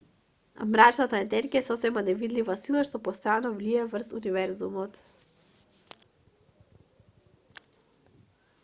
мрачната енергија е сосема невидлива сила што постојано влијае врз универзумот